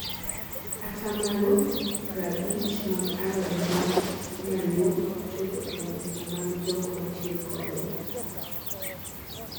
atamalo prabich mag alode mag nyaluo ok chope e mesa mag jok matiyo kode